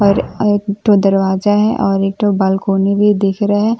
और एक तो दरवाजा हैं और एक बालकोनी भी दिख रहे --